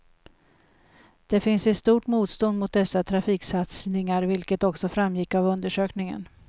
Det finns ett stort motstånd mot dessa trafiksatsningar, vilket också framgick av undersökningen.